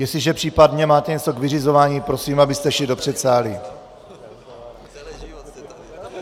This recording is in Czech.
Jestliže případně máte něco k vyřizování, prosím, abyste šli do předsálí.